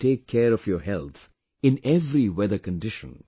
You have to take care of your health in every weather condition